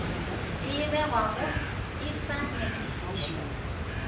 e begwago e sa nyakišišwa